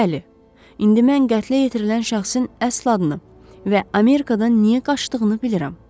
Bəli, indi mən qətlə yetirilən şəxsin əsl adını və Amerikadan niyə qaçdığını bilirəm.